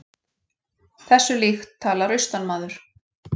Þessu líkt talar austanmaður.